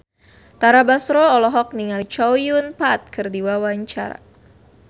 Tara Basro olohok ningali Chow Yun Fat keur diwawancara